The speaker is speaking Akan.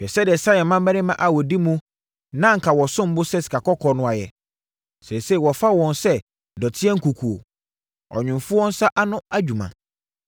Hwɛ sɛdeɛ Sion mmammarima a wɔdi mu na anka wɔsom bo sɛ sika kɔkɔɔ no ayɛ, seesei wɔfa wɔn sɛ dɔteɛ nkukuo, ɔnwomfoɔ nsa ano adwuma!